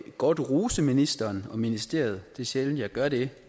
godt rose ministeren og ministeriet det er sjældent jeg gør det